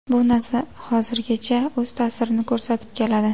Bu narsa hozirgacha o‘z ta’sirini ko‘rsatib keladi.